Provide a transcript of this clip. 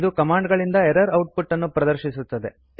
ಇದು ಕಮಾಂಡ್ ಗಳಿಂದ error output ಅನ್ನು ಪ್ರದರ್ಶಿಸುತ್ತದೆ